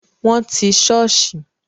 Wọn ti sọ́ọ̀sì